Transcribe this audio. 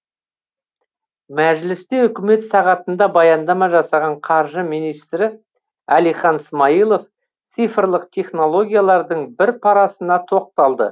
мәжілісте үкімет сағатында баяндама жасаған қаржы министрі әлихан смайылов цифрлық технологиялардың бір парасына тоқталды